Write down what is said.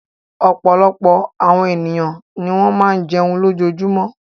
Ọ̀pọ̀lọpọ̀ àwọn ènìyàn ni wọ́n máa ń jẹun lójoojúmọ́.